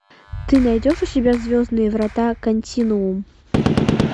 ты найдешь у себя звездные врата континуум